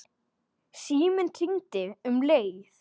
Síminn hringdi um leið.